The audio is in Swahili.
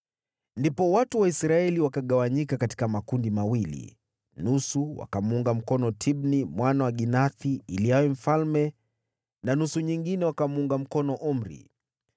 Ndipo watu wa Israeli wakagawanyika katika makundi mawili, nusu wakamuunga mkono Tibni mwana wa Ginathi ili awe mfalme na nusu nyingine wakamuunga mkono Omri.